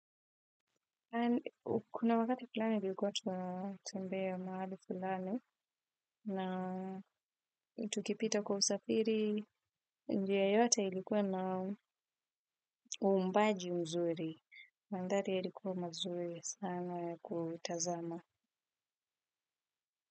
Kuna wakati fulani ilikuwa tunatembea mahali fulani na tukipita kwa usafiri. Njia yote ilikuwa na uumbaji mzuri. Mandhari yalikuwa mazuri sana ya kutazama.